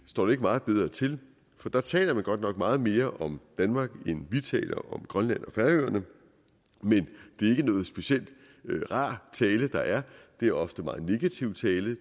står det ikke meget bedre til for der taler man godt nok meget mere om danmark end vi taler om grønland og færøerne men det er ikke nogen speciel rar tale der er det er ofte en meget negativ tale